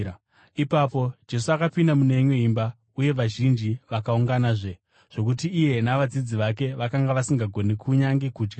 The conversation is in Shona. Ipapo Jesu akapinda mune imwe imba, uye vazhinji vakaunganazve, zvokuti iye navadzidzi vake vakanga vasingagoni kunyange kudya.